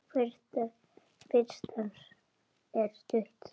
Fyrst er stutt þögn.